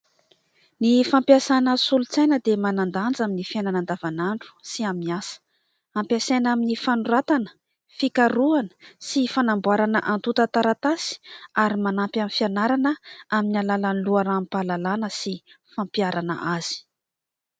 Ny fampiasana solosaina dia manan-danja amin'ny fiainana andavanandro sy amin'ny asa, ampiasaina amin'ny fanoratana fikaroana sy fanamboarana atonta taratasy ary manampy amin'ny fianarana amin'ny alalan'ny loharam-pahalalàna sy fampiarana azy.